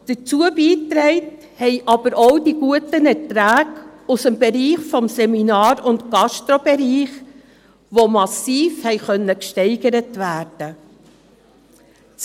Dazu beigetragen haben aber auch die guten Erträge aus dem Seminar- und Gastrobereich, die massiv gesteigert werden konnten.